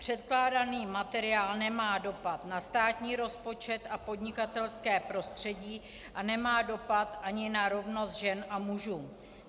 Předkládaný materiál nemá dopad na státní rozpočet a podnikatelské prostředí a nemá dopad ani na rovnost žen a mužů.